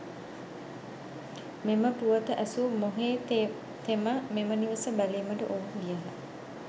මෙම පුවත ඇසු මොහේතෙම මෙම නිවස බැලිමට ඔවුහු ගියහ.